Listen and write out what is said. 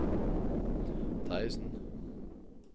Terjesen